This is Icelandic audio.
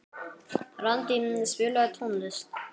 Randý, spilaðu tónlist.